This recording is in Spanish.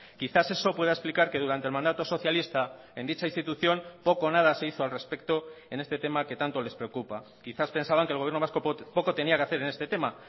quizás eso pueda explicar que durante el mandato socialista en dicha institución poco o nada se hizo al respecto en este tema que tanto les preocupa quizás pensaban que el gobierno vasco poco tenía que hacer en este tema